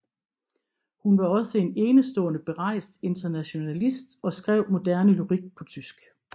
Hun var også en enestående berejst internationalist og skrev moderne lyrik på tysk